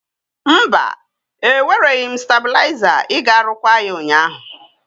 Mba, ewereghị m stebụliazar iga rụkwaa ya ụnyaahụ.